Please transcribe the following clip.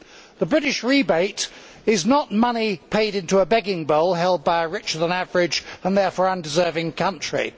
The British rebate is not money paid into a begging bowl held by a richer than average and therefore undeserving country